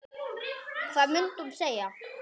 Hvað mundi hún segja?